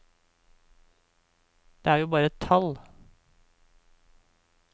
Det er jo bare et tall.